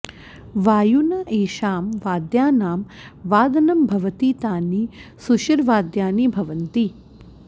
वायुना एषां वाद्यानां वादनं भवति तानि सुषिरवाद्यानि भवन्ति